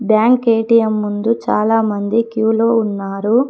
Bank ATM ముందు చాలా మంది క్యూలో ఉన్నారు.